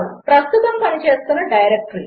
ప్రస్తుతము పనిచేస్తున్న డైరెక్టరీ